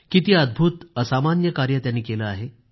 किती अद्भूत असामान्य कार्य त्यांनी केलं आहे